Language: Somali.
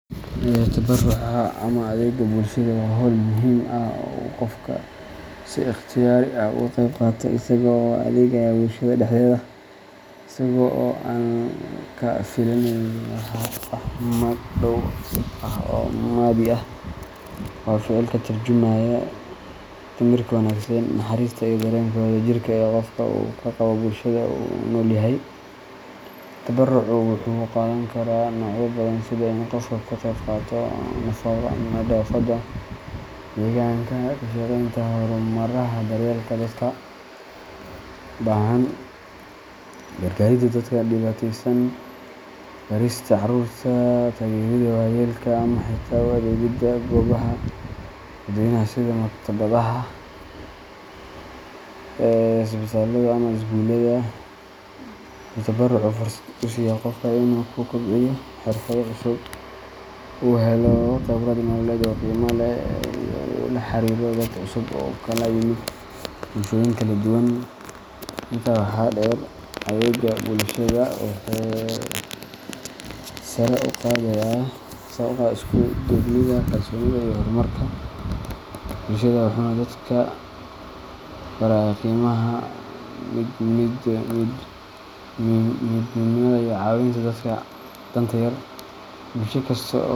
Tabaruca ama adeega bulshada waa hawl muhiim ah oo uu qofku si ikhtiyaari ah uga qayb qaato isagoo u adeegaya bulshada dhexdeeda, isaga oo aan ka filaynin wax magdhow ah oo maaddi ah. Waa ficil ka tarjumaya damiirka wanaagsan, naxariista, iyo dareenka wadajirka ee qofka uu ka qabo bulshada uu la nool yahay. Tabarucu wuxuu qaadan karaa noocyo badan sida in qofku ka qeyb qaato nadaafadda deegaanka, ka shaqeynta xarumaha daryeelka dadka baahan, gargaaridda dadka dhibaateysan, barista carruurta, taageeridda waayeelka, ama xitaa u adeegidda goobaha dadweynaha sida maktabadaha, isbitaallada ama iskuulada. Wuxuu tabarucu fursad u siiyaa qofka in uu ku kobciyo xirfado cusub, uu helo khibrad nololeed oo qiimo leh, iyo in uu la xiriiro dad cusub oo ka kala yimid bulshooyin kala duwan. Intaa waxaa dheer, adeegga bulshada wuxuu sare u qaadaa isku duubnida, kalsoonida, iyo horumarka bulshada, wuxuuna dadka barayaa qiimaha midnimada iyo caawinta dadka danta yar. Bulsho kasta oo.